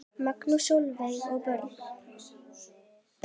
Magnús, Sólveig og börn.